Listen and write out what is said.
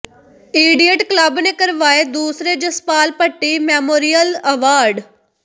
idiot club ਨੇ ਕਰਵਾਏ ਦੂਸਰੇ ਜਸਪਾਲ ਭੱਟੀ ਮੈਮੋਰੀਅਲ ਅਵਾਰਡ